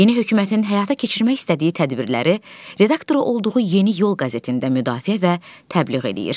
Yeni hökumətin həyata keçirmək istədiyi tədbirləri redaktoru olduğu Yeni Yol qəzetində müdafiə və təbliğ eləyir.